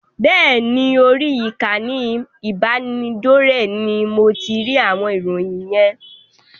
Bẹ́ẹ̀ ni, orí ìkànnì ìbánidọ́rẹ̀ẹ́ ní mo ti rí àwọn ìròyìn yen.